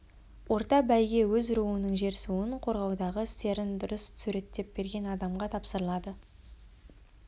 орта бәйге өз руының жер-суын қорғаудағы істерін дұрыс суреттеп берген адамға тапсырылады